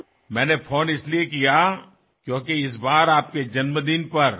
মই এইকাৰণে ফোন কৰিছো কাৰণ এইবাৰ আপোনাৰ জন্মদিনত